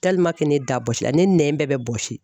ne da bɔsi la, ne nɛn bɛɛ bɛ bɔsi.